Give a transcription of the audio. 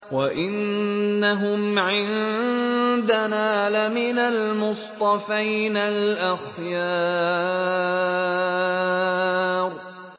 وَإِنَّهُمْ عِندَنَا لَمِنَ الْمُصْطَفَيْنَ الْأَخْيَارِ